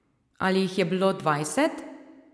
Ali jih je bilo dvajset?